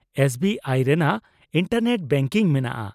-S B ᱟᱭᱼᱨᱮᱭᱟᱜ internet banking ᱢᱮᱱᱟᱜᱼᱟ ᱾